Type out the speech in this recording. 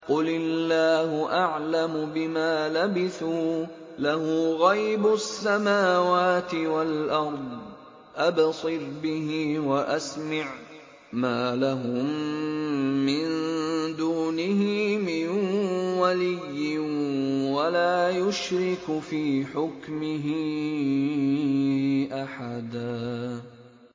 قُلِ اللَّهُ أَعْلَمُ بِمَا لَبِثُوا ۖ لَهُ غَيْبُ السَّمَاوَاتِ وَالْأَرْضِ ۖ أَبْصِرْ بِهِ وَأَسْمِعْ ۚ مَا لَهُم مِّن دُونِهِ مِن وَلِيٍّ وَلَا يُشْرِكُ فِي حُكْمِهِ أَحَدًا